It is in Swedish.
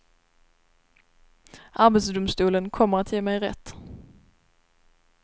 Arbetsdomstolen kommer att ge mig rätt.